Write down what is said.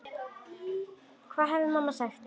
Hvað hefði mamma sagt?